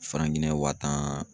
wa tan.